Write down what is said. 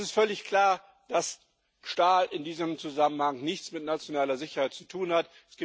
Es ist völlig klar, dass Stahl in diesem Zusammenhang nichts mit nationaler Sicherheit zu tun hat.